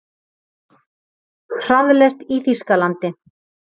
Hraðlest í Þýskalandi.